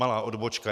Malá odbočka.